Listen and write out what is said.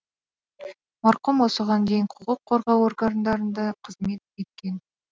марқұм осыған дейін құқық қорғау органдарында қызмет еткен